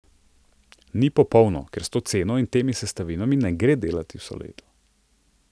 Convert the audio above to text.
Ni popolno, ker s to ceno in temi sestavinami ne gre delati vse leto.